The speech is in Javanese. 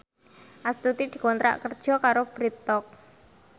Astuti dikontrak kerja karo Bread Talk